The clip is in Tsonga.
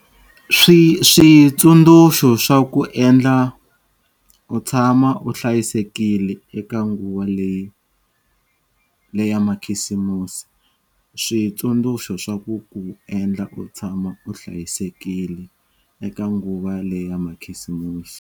Switsundzuxo swa ku ku endla u tshama u hlayisekile eka nguva leya makhisimusi. Switsundzuxo swa ku ku endla u tshama u hlayisekile eka nguva leya makhisimusi.